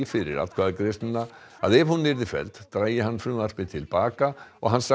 fyrir atkvæðagreiðsluna að ef hún yrði felld drægi hann frumvarpið til baka og hann